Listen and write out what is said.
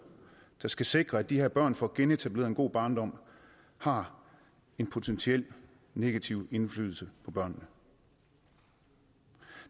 der skal sikre at de her børn får genetableret en god barndom har en potentiel negativ indflydelse på børnene